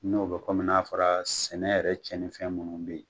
N'o bɛ komi n'a fɔra sɛnɛ yɛrɛ cɛnnifɛn minnu be yen